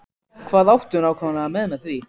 Hvað áttu nákvæmlega við með því?